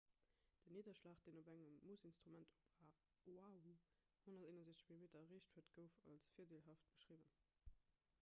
den nidderschlag deen op engem moossinstrument op oahu 161 mm erreecht huet gouf als virdeelhaft beschriwwen